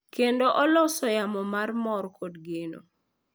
Kendo oloso yamo mar mor kod geno.